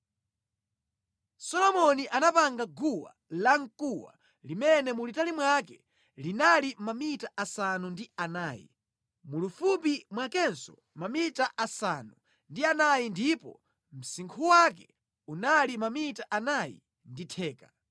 Solomoni anapanga guwa lamkuwa limene mulitali mwake linali mamita asanu ndi anayi, mulifupi mwakenso mamita asanu ndi anayi ndipo msinkhu wake unali mamita anayi ndi theka.